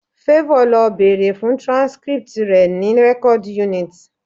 Favour lọ bèrè fún transcript rẹ̀ ní record unit